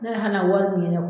Ne wari mun